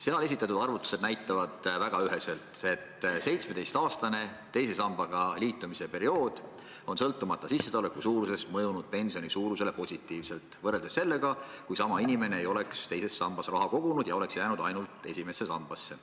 Seal esitatud arvutused näitavad väga üheselt, et 17-aastane teise sambaga liitumise periood on sõltumata sissetuleku suurusest mõjunud pensioni suurusele positiivselt võrreldes sellega, kui sama inimene ei oleks teise sambasse raha kogunud ja oleks jäänud ainult esimesse sambasse.